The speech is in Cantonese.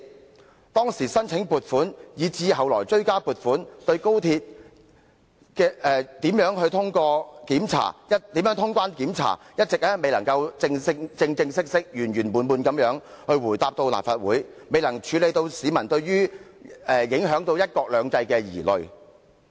關於當時申請撥款以至後來追加撥款，以及如何通關、檢查等問題，政府一直未能正正式式及圓圓滿滿地回答立法會的質詢，亦未能釋除市民對高鐵影響"一國兩制"的疑慮。